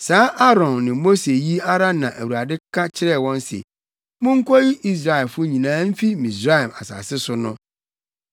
Saa Aaron ne Mose yi ara na Awurade ka kyerɛɛ wɔn se, “Munkoyi Israelfo nyinaa mfi Misraim asase so” no.